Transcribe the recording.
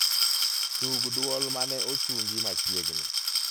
tug duol maneochungi machiegni